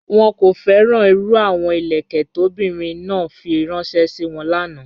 Wọ́n kò fẹ́ràn irú àwọn ilẹ̀kẹ̀ tó ọ̀bìnrin náà fí ránṣẹ̀ sí wọ́n lána.